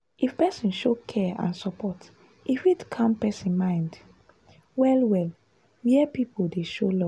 if person show care and support e fit calm person mind well-well where people dey show love.